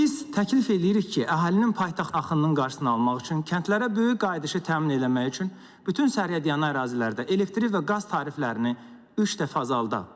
Biz təklif eləyirik ki, əhalinin paytaxt axınının qarşısını almaq üçün, kəndlərə böyük qayıdışı təmin eləmək üçün, bütün sərhədyanı ərazilərdə elektrik və qaz tariflərini üç dəfə azaldaq.